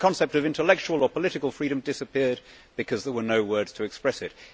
so the concept of intellectual or political freedom disappeared, because there were no words to express it.